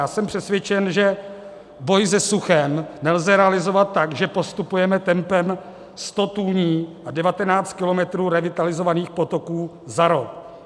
Já jsem přesvědčen, že boj se suchem nelze realizovat tak, že postupujeme tempem 100 tůní a 19 kilometrů revitalizovaných potoků za rok.